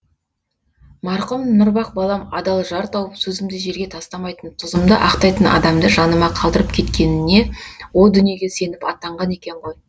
марқұм нұрбақ балам адал жар тауып сөзімді жерге тастамайтын тұзымды ақтайтын адамды жаныма қалдырып кеткеніне о дүниеге сеніп аттанған екен ғой